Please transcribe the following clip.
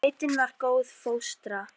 Sveitin var góð fóstra.